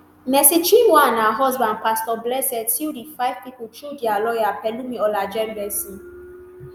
mercy chinwo and her husband pastor blessed sue di five pipo through dia lawyer pelumi olajengbesi